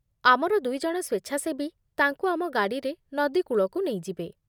ଆମର ଦୁଇଜଣ ସ୍ୱେଚ୍ଛାସେବୀ ତାଙ୍କୁ ଆମ ଗାଡ଼ିରେ ନଦୀ କୂଳକୁ ନେଇଯିବେ।